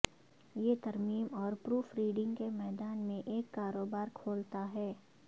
یہ ترمیم اور پروف ریڈنگ کے میدان میں ایک کاروبار کھولتا ہے